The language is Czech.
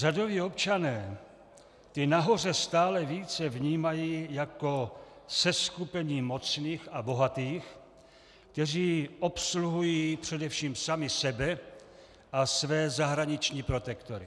Řadoví občané ty nahoře stále více vnímají jako seskupení mocných a bohatých, kteří obsluhují především sami sebe a své zahraniční protektory.